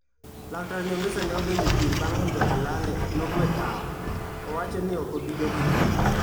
Laktar Nyongesa ne odonjo e piem bang' Muga Kolale nogwe tao. Owacho ni okobi dok e piem.